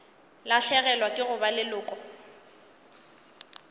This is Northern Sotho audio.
lahlegelwa ke go ba leloko